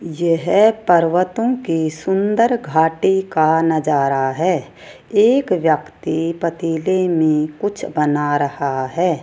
यह पर्वतों के सुंदर घाटे का नजारा है एक व्यक्ति पतीले में कुछ बना रहा है।